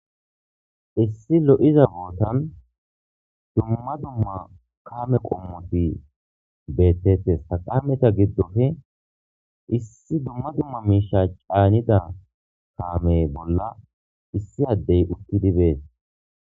issi lo7iza bootan dumma dumma kame qommoti beettettes ha kameta giddofe issi dumma dumma miisha caanida kaame bolla issi addey uttidi bees